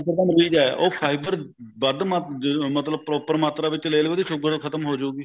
sugar ਦਾ ਮਰੀਜ ਐ ਉਹ fiber ਵੱਧ ਮਾਤਰਾ ਮਤਲਬ proper ਮਾਤਰਾ ਵਿੱਚ ਲੈ ਲਵੇ ਉਹਦੀ ਸੂਗਰ ਖਤਮ ਹੋਜੂਗੀ